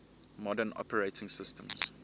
modern operating systems